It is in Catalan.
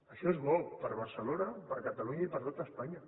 això és bo per a barcelona per a catalunya i per a tot espanya